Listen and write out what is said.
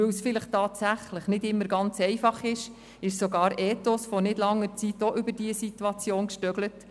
Weil es tatsächlich nicht immer einfach ist, ist sogar Ethos unlängst über dieses Problem gestolpert.